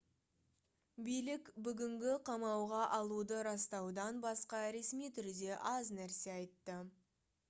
билік бүгінгі қамауға алуды растаудан басқа ресми түрде аз нәрсе айтты